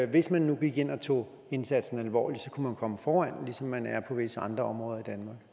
hvis man nu gik ind og tog indsatsen alvorligt kunne man komme foran ligesom man er på visse andre områder